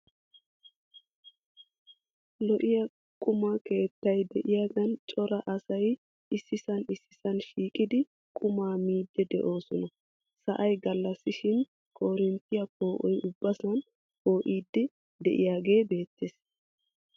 Lo"iya quma keettay de"iyaagan cora asay issisan issisan shiiqidi qumaa miiddi de'oosona. Sa"ay gallassashin koorinttiyaa poo"oy ubbasan poo"iiddi de"iyaagee beettees.